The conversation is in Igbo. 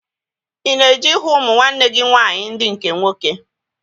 Ị na-eje ịhụ ụmụ nwanne gị nwaanyị ndị nke nwoke?